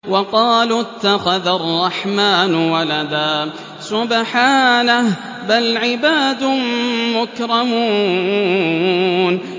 وَقَالُوا اتَّخَذَ الرَّحْمَٰنُ وَلَدًا ۗ سُبْحَانَهُ ۚ بَلْ عِبَادٌ مُّكْرَمُونَ